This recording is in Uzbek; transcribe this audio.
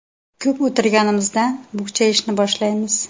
Ko‘p o‘tirganimizdan bukchayishni boshlaymiz.